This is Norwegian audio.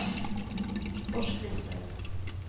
forskrifter